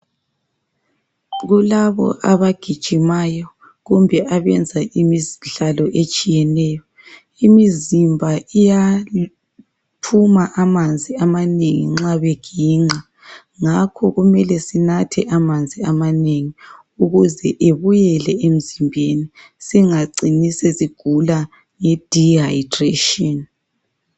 Kulabo abagijimayo kumbe abenza imidlalo etshiyeneyo, imizimba iyaphuma amanzi amanengi nxa beginqa ngakho kumele sinathe amanzi amanengi ukuze ebuyele emzimbeni singacini sesigula nge "dehydration".